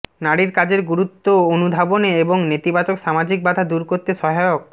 নারীর কাজের গুরুত্ব অনুধাবনে এবং নেতিবাচক সামাজিক বাধা দূর করতে সহায়ক